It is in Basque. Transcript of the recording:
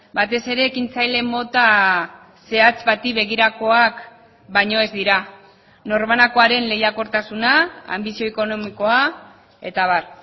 batez ere ekintzaile mota zehatz bati begirakoak baino ez dira norbanakoaren lehiakortasuna anbizio ekonomikoa eta abar